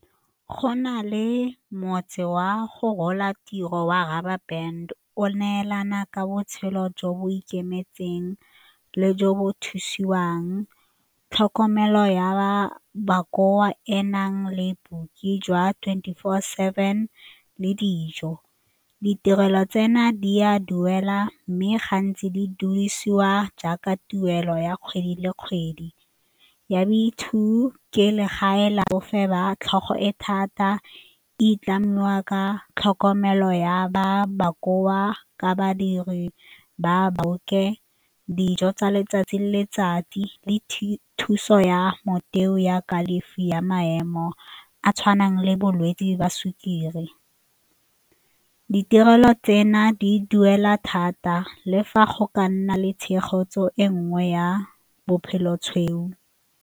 Go na le motse wa go rola tiro wa o neelana ka botshelo jo bo ikemetseng le jo bo thusiwang, tlhokomelo ya ba bakoa e nang le booki jwa twenty four seven le dijo. Ditirelo tseno di a duela mme gantsi di duedisiwa jaaka tuelo ya kgwedi le kgwedi ya boitshupo ke legae la e thata di tlamiwa ka tlhokomelo ya ba bokoa ka badiri ba boloke dijo tsa letsatsi le letsatsi le thuso ya motheo ya kalafi ya maemo mo a tshwanang le bolwetse jwa sukiri. Ditirelo tseno di duela thata le fa go ka nna le tshegetso e nngwe ya bophelo tshweu.